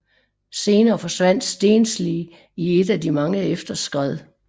Senere forsvandt Stensli i et af de mange efterskred